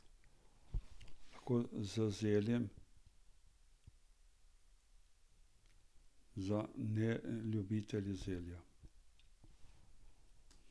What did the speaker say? Lahko z zeljem za neljubitelje zelja.